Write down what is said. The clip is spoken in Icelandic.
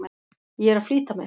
Ég er að flýta mér!